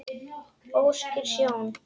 óskýr sjón